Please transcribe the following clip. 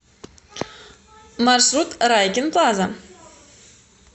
маршрут райкин плаза